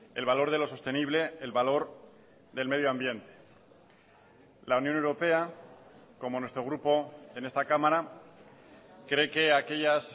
el valor de lo sostenible el valor del medio ambiente la unión europea como nuestro grupo en esta cámara cree que aquellas